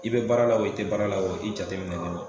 I bɛ baara la i tɛ baara la i jateminɛ ne don